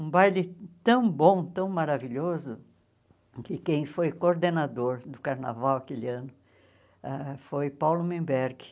Um baile tão bom, tão maravilhoso, que quem foi coordenador do carnaval aquele ano ãh foi Paulo Menberg.